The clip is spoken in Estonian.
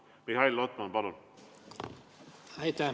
Mihhail Lotman, palun!